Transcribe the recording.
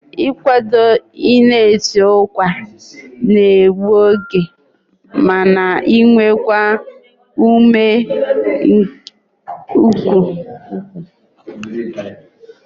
Ị kwado na i si ụkwa n'egbu oge ma na ewekwa ume nke ukwuu